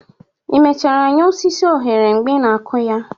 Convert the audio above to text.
ị mechara nye osisi oghere mgbe ị na-akụ ha?